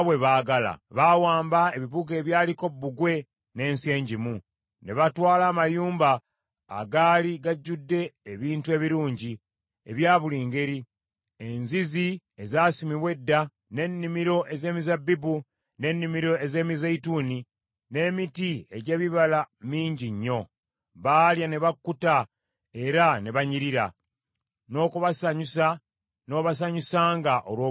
Baawamba ebibuga ebyaliko bbugwe n’ensi enjimu, ne batwala amayumba agaali gajudde ebintu ebirungi ebya buli ngeri, enzizi ezasimibwa edda, n’ennimiro ez’emizabbibu, n’ennimiro ez’emizeeyituuni, n’emiti egy’ebibala mingi nnyo. Baalya ne bakkuta era ne banyirira, n’okubasanyusa n’obasanyusanga olw’obulungi bwo.